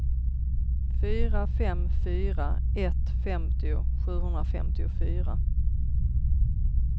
fyra fem fyra ett femtio sjuhundrafemtiofyra